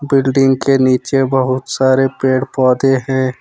Building के नीचे बहुत सारे पेड़ पौधे हैं।